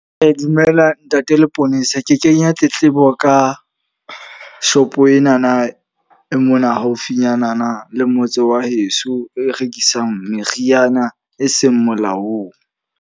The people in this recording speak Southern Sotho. Dumela ntate Leponesa. Ke kenya tletlebo ka shopo enana e mona haufinyana le motse wa heso e rekisang meriana e seng molaong.